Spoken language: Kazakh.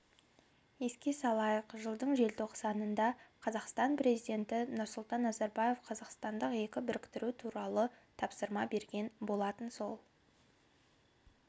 еске салайық жылдың желтоқсанында қазақстан президенті нұрсұлтан назарбаев қазақстандық екі біріктіру туралы тапсырма берген болатын сол